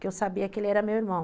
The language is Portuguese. Que eu sabia que ele era meu irmão.